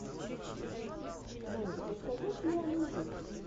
можешь показать диану ди